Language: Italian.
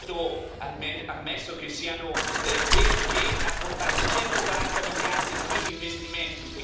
Ha detto ammesso che siano veri che ha portato 140 miliardi in più di investimenti.